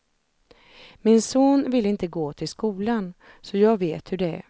Min son ville inte gå till skolan, så jag vet hur det är.